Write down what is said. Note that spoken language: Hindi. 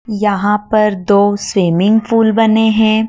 यहां पर दो स्विमिंग पूल बने हैं।